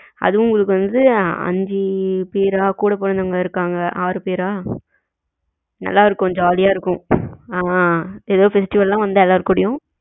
அதும் உங்களுக்கு வந்து அஞ்சு பேரா கூட பிறந்தவங்க இருகாங்க ஆறு பேரா நல்லா இருக்கும் jolly ஆ இருக்கும் ஆமா எதாவது festival வந்தா எல்லாரு கூடயும்